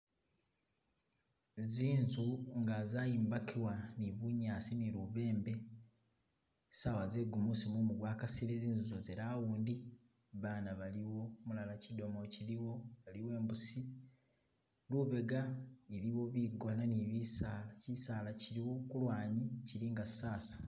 Zinzu nga zaimbakibwa ne bunyasi ne lubembe sawa ze gumusi mumu gwa kasile zinzu zo ze round baana balimo umulala kidomolo kiliwo aliwo imbusi, lubega iliwo bigona ne bisala, kisala kiliwo ku lwanyi kili nga sasa